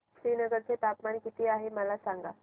श्रीनगर चे तापमान किती आहे मला सांगा